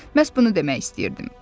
Mən də məhz bunu demək istəyirdim.